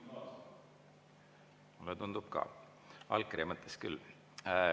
Mulle tundub ka, allkirja mõttes küll.